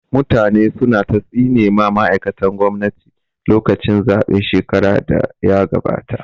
Mutane su na ta tsine ma ma'aikatan gwamnati lokacin zaɓen shekarar da ya gabata